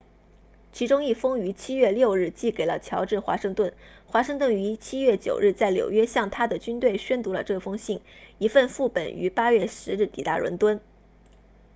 其中一封于7月6日寄给了乔治华盛顿华盛顿于7月9日在纽约向他的军队宣读了这封信一份副本于8月10日抵达伦敦